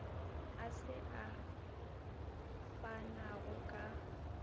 a se a fanago ka